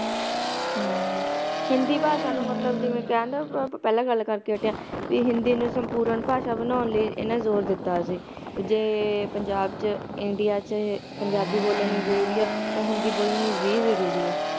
ਹਿੰਦੀ ਭਾਸ਼ਾ ਨੂੰ ਮਤਲਬ ਜਿਵੇ ਕਹਿਣ ਦੇ ਹੈ ਆਪਾਂ ਪਹਿਲਾਂ ਗੱਲ ਕਰਕੇ ਹਟੇ ਆ ਹਿੰਦੀ ਨੂੰ ਸੰਪੂਰਣ ਭਾਸ਼ਾ ਬਣਾਉਣ ਲਈ ਇਹਨਾਂ ਜ਼ੋਰ ਦਿੱਤਾ ਸੀ ਜੇ ਪੰਜਾਬ ਚ india ਚ ਪੰਜਾਬੀ ਬੋਲਣੀ ਜ਼ਰੂਰੀ ਹੈ ਤਾ ਹਿੰਦੀ ਬੋਲਣੀ ਵੀ ਜ਼ਰੂਰੀ ਹੈ